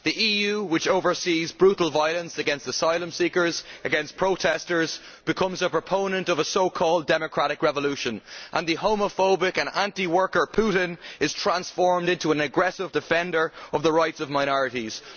The EU, which oversees brutal violence against asylum seekers and protestors, becomes a proponent of a so called democratic revolution, and the homophobic and anti worker Putin is transformed into an aggressive defender of the rights of minorities.